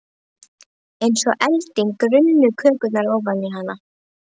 Eins og elding runnu kökurnar ofan í hana.